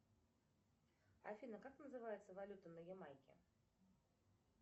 афина как называется валюта на ямайке